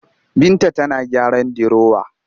Binta tana gyaran dirowa